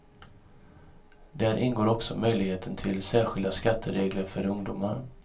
Där ingår också möjligheten till särskilda skatteregler för ungdomar.